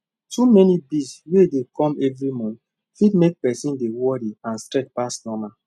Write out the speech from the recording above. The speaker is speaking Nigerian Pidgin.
too many bills wey dey come every month fit mek person dey worry and stress pass normal